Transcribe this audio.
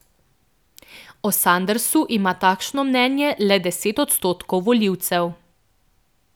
O Sandersu ima takšno mnenje le deset odstotkov volivcev.